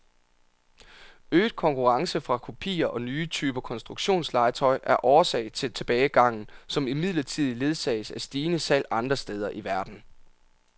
Øget konkurrence fra kopier og nye typer konstruktionslegetøj er årsag til tilbagegangen, som imidlertid ledsages af stigende salg andre steder i verden.